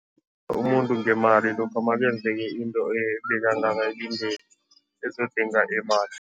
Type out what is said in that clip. Umuntu ngemali lokha makenzeke into ebekangayilindeli ezodinga imali.